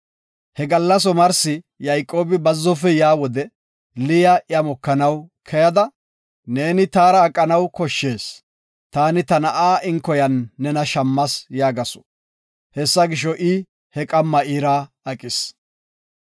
He gallas omarsi Yayqoobi bazzofe yaa wode Liya iya mokanaw keyada, “Neeni taara aqanaw koshshees; taani ta na7a inkoya ayfiyan nena shammas” yaagasu. Hessa gisho, I he qamma iira aqis.